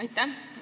Aitäh!